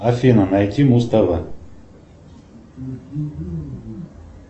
афина найти муз тв